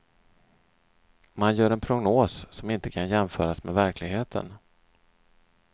Man gör en prognos som inte kan jämföras med verkligheten.